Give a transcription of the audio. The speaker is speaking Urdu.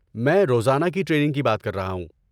میں روزانہ کی ٹریننگ کی بات کر رہا ہوں۔